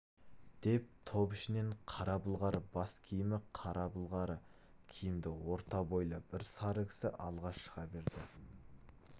деп топ ішінен қара былғары бас киімі қара былғары киімді орта бойлы бір сары кісі алға шыға берді